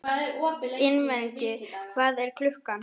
Ingiveig, hvað er klukkan?